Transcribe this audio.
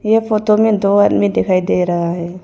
यह फोटो में दो आदमी दिखाई दे रहा है।